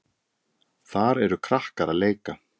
Þar eru krakkar að leika.